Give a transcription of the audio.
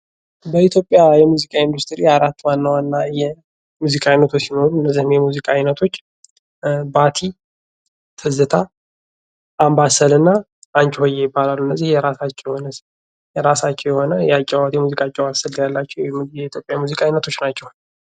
በኢትዮጵያ የሙዚቃ ኢንዱስትሪ አራት ዋና ዋና የሙዚቃ አይነቶች አሉ ።ከነዚህም መካከል ባቲ፣ ትዝታ፣ አንባሰልና አንች ሆየ ይባላሉ። እነዚህም የራሳቸው የሆነ የአጨዋወት ስልት ያላቸው የኢትዮጵያ የሙዚቃ አይነቶች ናቸው።